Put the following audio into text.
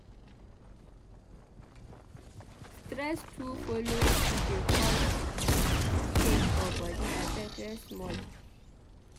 Stress too folo dey cause pain for bodi abeg rest small.